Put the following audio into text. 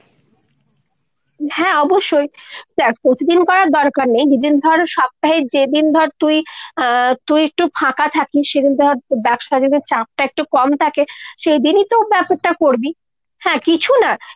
হ্যাঁ অবশ্যই। দ্যাখ প্রতিদিন করার দরকার নেই। যেদিন ধর সপ্তাহে যেদিন ধর তুই আ তুই একটু ফাঁকা থাকিস সেদিন ধর, ব্যবসা যেদিন চাপটা একটু কম থাকে সেইদিনতো টা করবি। হ্যাঁ কিছুনা